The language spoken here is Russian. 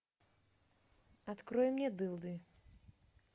открой мне дылды